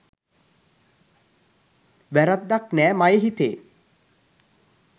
වැරැද්දක් නෑ මයෙ හිතේ